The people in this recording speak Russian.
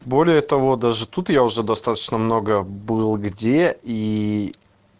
более того даже тут я уже достаточно много был где и